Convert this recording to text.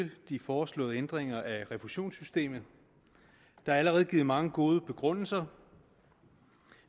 de foreslåede ændringer af refusionssystemet der er allerede givet mange gode begrundelser